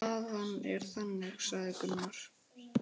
Staðan er þannig, sagði Gunnar.